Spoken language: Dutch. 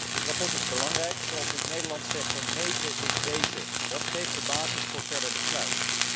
Dit verslag is belangrijk. Zoals we in het Nederlands zeggen meten is weten, dat geeft de basis voor verder besluit.